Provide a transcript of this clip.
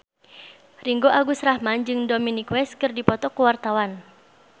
Ringgo Agus Rahman jeung Dominic West keur dipoto ku wartawan